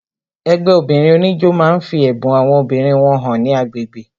Ẹgbẹ́ obìnrin oníjó máa ń fi ẹ̀bùn àwọn obìnrin wọn hàn ní agbègbè